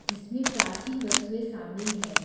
जिसमें प्राचीन वस्तुए शामिल है।